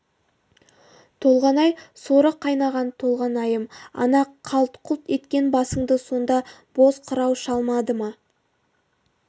толғанай соры қайнаған толғанайым ана қалт-құлт еткен басыңды сонда боз қырау шалмады ма